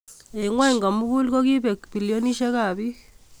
Eng ngwony komugul kokikobek bilionisiekab bik